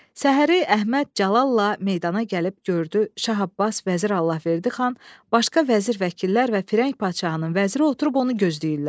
Səhəri Əhməd cəlalla meydana gəlib gördü Şah Abbas, Vəzir Allahverdi xan, başqa vəzir vəkillər və firəng padşahının vəziri oturub onu gözləyirlər.